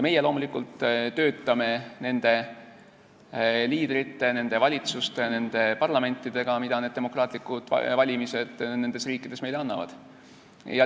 Meie loomulikult töötame nende liidrite, nende valitsuste, nende parlamentidega, mida demokraatlikud valimised nendes riikides meile annavad.